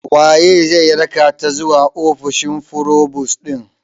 Waye zai rakata zuwa ofishi forubus ɗin?